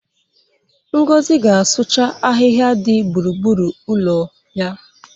Ngozi ga-asụcha ahịhịa dị gburugburu ụlọ ya.